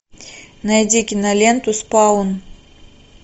найди киноленту спаун